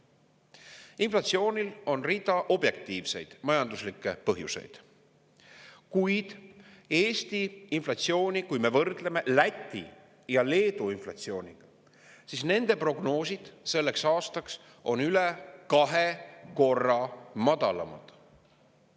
Inflatsioonil on rida objektiivseid majanduslikke põhjuseid, kuid kui me võrdleme Eesti inflatsiooni Läti ja Leedu inflatsiooniga, siis nende prognoosid selleks aastaks on üle kahe korra madalamad.